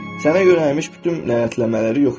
Sənə yönəlmiş bütün nələmələri yox etmək.